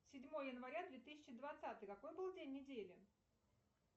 седьмое января две тысячи двадцатый какой был день недели